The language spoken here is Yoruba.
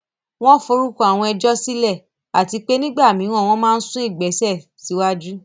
Wọ́n forúkọ àwọn ẹjọ́ sílẹ̀, àti pé nígbà mìíràn, wọ́n máa ń sún ìgbésẹ̀ síwájú.